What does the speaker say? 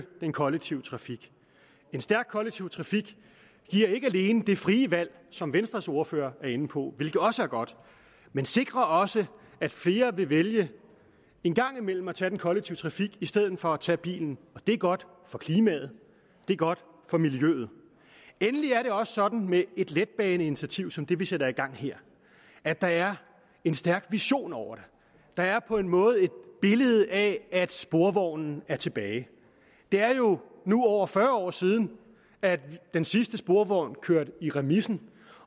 den kollektive trafik en stærk kollektiv trafik giver ikke alene det frie valg som venstres ordfører var inde på hvilket også er godt men sikrer også at flere vil vælge en gang imellem at tage den kollektive trafik i stedet for at tage bilen og det er godt for klimaet det er godt for miljøet endelig er det også sådan med et letbaneinitiativ som det vi sætter i gang her at der er en stærk vision over det der er på en måde et billede af at sporvognen er tilbage det er jo nu over fyrre år siden at den sidste sporvogn kørte i remisen